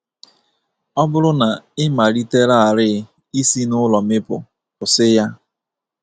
Ọ bụrụ na ị malitelarị i si n'ulo mịpụ, kwụsị ya!